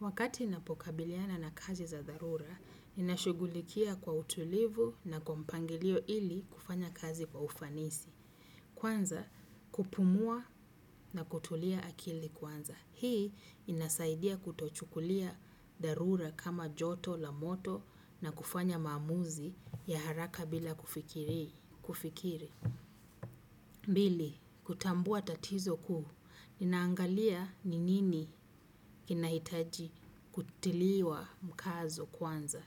Wakati ninapokabiliana na kazi za dharura, ninashugulikia kwa utulivu na kwa mpangilio ili kufanya kazi kwa ufanisi. Kwanza, kupumua na kutulia akili kwanza. Hii inasaidia kutochukulia dharura kama joto, la moto na kufanya maamuzi ya haraka bila kufikiri. Kufikiri, mbili, kutambua tatizo kuu, ninaangalia ni nini kinahitaji kutiliwa mkazo kwanza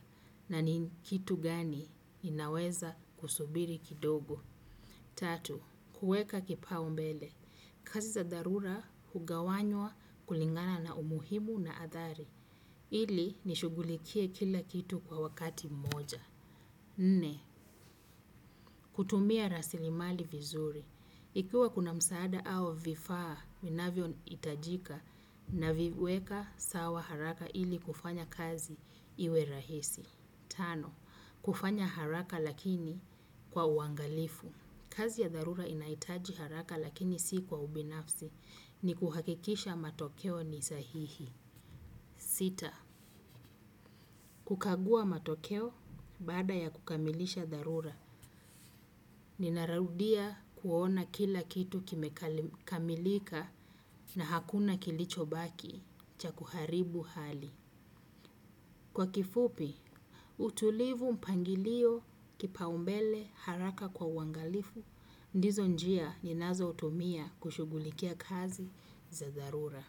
na ni kitu gani inaweza kusubiri kidogo. Tatu, kuweka kipaombele, kazi za dharura hugawanywa kulingana na umuhimu na adhari, ili nishugulikie kila kitu kwa wakati moja. Nne, kutumia rasilimali vizuri. Ikiwa kuna msaada au vifaa, winavyo itajika na viweka sawa haraka ili kufanya kazi iwe rahisi. Tano, kufanya haraka lakini kwa uangalifu. Kazi ya darura inaitaji haraka lakini si kwa ubinafsi ni kuhakikisha matokeo ni sahihi. Sita kukagua matokeo baada ya kukamilisha darura ninaraudia kuona kila kitu kimekamilika na hakuna kilichobaki cha kuharibu hali. Kwa kifupi, utulivu mpangilio kipaumbele haraka kwa uwangalifu. Ndizo njia ninazo utumia kushugulikia kazi za darura.